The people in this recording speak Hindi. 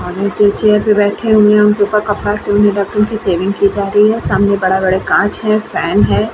आदमी चेयर पर बैठे हैं उनको कपड़ा से ढ़क कर सेविंग की जा रही है। सामने बड़ा-बड़ा काँच है। फैन है।